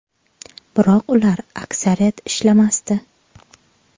Biroq ular, aksariyat, ishlamasdi.